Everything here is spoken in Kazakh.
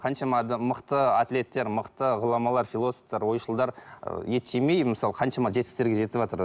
қаншама адам мықты атлеттер мықты ғұламалар философтар ойшылдар ы ет жемей мысалы қаншама жетістіктерге жетіватыр